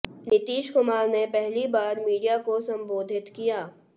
नीतीश कुमार ने पहली बार मीडिया को संबोधित किया